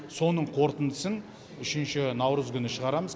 соның қорытындысын үшінші наурыз күні шығарамыз